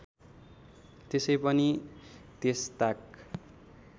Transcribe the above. त्यसै पनि त्यसताक